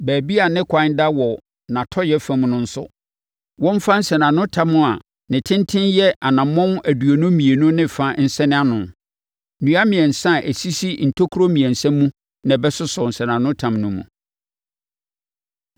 Baabi a ne kwan da wɔ nʼatɔeɛ fam no nso, wɔmfa nsɛnanotam a ne tenten yɛ anammɔn aduonu mmienu ne fa nsɛn ano. Nnua mmiɛnsa a ɛsisi ntokuro mmiɛnsa mu na ɛbɛsosɔ nsɛnanotam no mu.